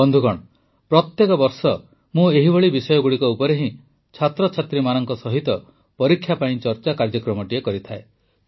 ବନ୍ଧୁଗଣ ପ୍ରତିବର୍ଷ ମୁଁ ଏହିଭଳି ବିଷୟଗୁଡ଼ିକ ଉପରେ ହିଁ ଛାତ୍ରଛାତ୍ରୀମାନଙ୍କ ସହିତ ପରୀକ୍ଷା ପର୍ ଚର୍ଚ୍ଚା କାର୍ଯ୍ୟକ୍ରମଟି କରିଥାଏ